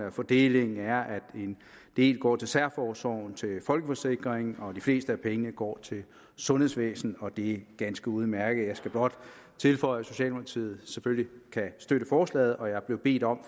at fordelingen er at en del går til særforsorgen til folkeforsikringen og de fleste af pengene går til sundhedsvæsenet og det er ganske udmærket jeg skal blot tilføje at socialdemokratiet selvfølgelig kan støtte forslaget og jeg er blevet bedt om